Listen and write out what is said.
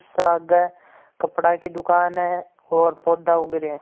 साग कपड़ा की दुकान है। पौधा उग रा हैं।